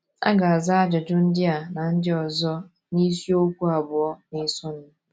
A ga - aza ajụjụ ndị a na ndị ọzọ n’isiokwu abụọ na - esonụ.